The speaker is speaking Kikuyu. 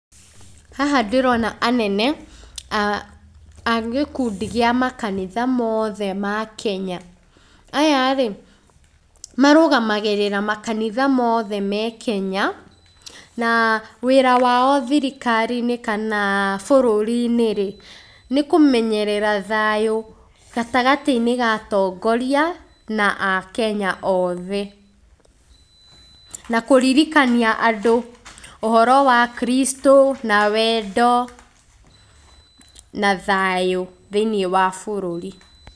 Haha ndĩrona anene a gĩkundi gĩa makanitha mothe makenya. Aya-rĩ, marũmagĩrĩra makanitha mothe ma kenya, na wĩra wao thirikari-inĩ kana bũrũri-inĩ rĩ nĩkũmenyerera thayũ gatagatĩ-inĩ ka atongoria na akenya othe. Nakũririkania andũ ũhoro wa Kristũ na wendo na thayũ thiĩniĩ wa bũrũri.